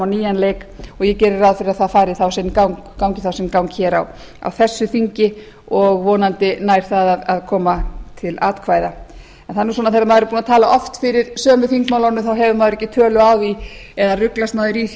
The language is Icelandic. nýjan leik og ég geri ráð fyrir að það gangi þá sinn gang á þessu þingi og vonandi nær það að koma til atkvæða það er nú svona þegar maður er búinn að tala oft fyrir sömu þingmálunum hefur maður ekki tölu á því eða ruglast maður í því